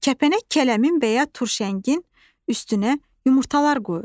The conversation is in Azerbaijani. Kəpənək kələmin və ya turşəngin üstünə yumurtalar qoyur.